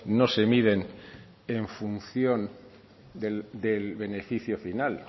no se miden en función del beneficio final